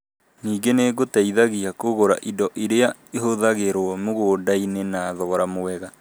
Ningĩ nĩgũteithagia kũgũra indo iria ihũthagĩrũo mũgũnda-inĩ na thogora mwega